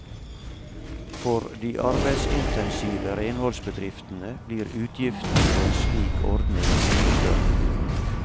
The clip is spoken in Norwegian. For de arbeidsintensive renholdsbedriftene blir utgiftene ved en slik ordning mye større.